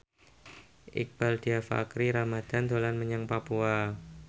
Iqbaal Dhiafakhri Ramadhan dolan menyang Papua